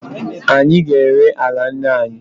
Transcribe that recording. Anyị ga-ere ala nna anyị.